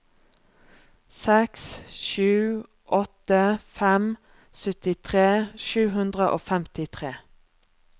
seks sju åtte fem syttitre sju hundre og femtitre